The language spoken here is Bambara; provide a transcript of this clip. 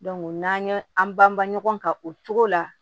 n'an ye an banba ɲɔgɔn kan o togo la